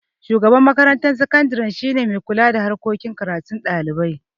shugaban makarantar sakadire shine mai kula da harkan karatun dalibai